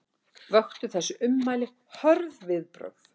Vöktu þessi ummæli hörð viðbrögð